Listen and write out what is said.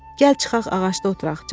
Gəl çıxaq ağacda oturaq.